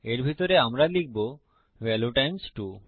এর ভিতরে আমরা লিখবো ভ্যালিউ টাইমস 2